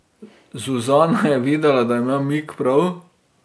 Zuzana je videla, da ima Mik prav.